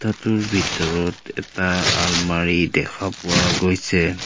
ঘৰটোৰ ভিতৰত এটা আলমাৰী দেখা পোৱা গৈছে।